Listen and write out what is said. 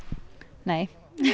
nei